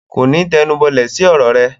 Kòní tẹnubọlẹ̀ sí ọ̀rọ̀ rẹ.